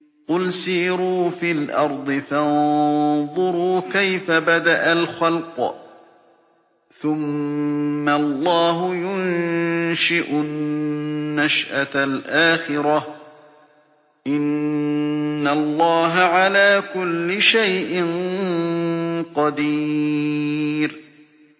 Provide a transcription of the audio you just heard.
قُلْ سِيرُوا فِي الْأَرْضِ فَانظُرُوا كَيْفَ بَدَأَ الْخَلْقَ ۚ ثُمَّ اللَّهُ يُنشِئُ النَّشْأَةَ الْآخِرَةَ ۚ إِنَّ اللَّهَ عَلَىٰ كُلِّ شَيْءٍ قَدِيرٌ